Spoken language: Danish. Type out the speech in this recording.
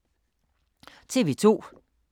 TV 2